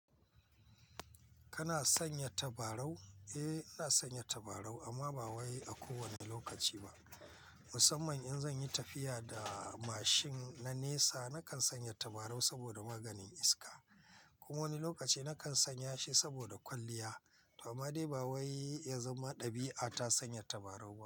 Kana sanya tabarau? Eh, ina sanya tabarau amma ba wai a kowanne lokaci ba. Musamman in zan yi tafiya da mashin na nesa, na kan sanya tabarau saboda maganin iska. Kuma wani lokaci na kan sanya shi saboda kwalliya. To amma dai ba wai ya zama ɗabi'a ta sanya tabarau.